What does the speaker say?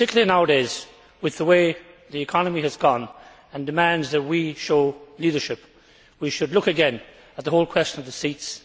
Nowadays, though, with the way the economy has gone and demands that we show leadership, we should look again at the whole question of the seats.